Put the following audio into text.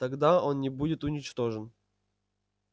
тогда он не будет уничтожен